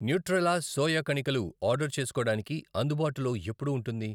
Nutrela soya కణికలు order చేసుకోడానికి అందుబాటులో ఎప్పుడు ఉంటుంది?